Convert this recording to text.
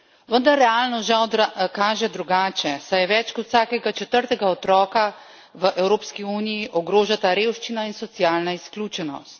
Vendar realnost žal kaže drugače, saj več kot vsakega četrtega otroka v Evropski uniji ogrožata revščina in socialna izključenost.